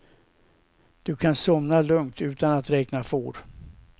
Du kan somna lugnt utan att räkna får.